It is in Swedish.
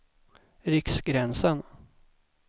Riksgränsen